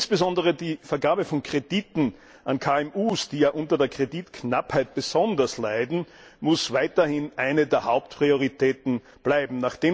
Insbesondere die Vergabe von Krediten an KMU, die ja unter der Kreditknappheit besonders leiden, muss weiterhin eine der Hauptprioritäten bleiben.